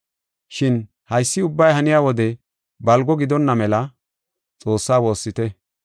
Shin haysi ubbay haniya wodey balgo gidonna mela, Xoossaa woossite.